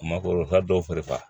Makoro fa dɔw fari